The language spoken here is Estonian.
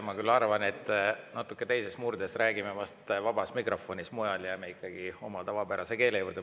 Ma küll arvan, et murdes räägime vast vabas mikrofonis, mujal jääme ikkagi oma tavapärase keele juurde.